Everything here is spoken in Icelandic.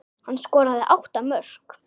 Hann skoraði átta mörk.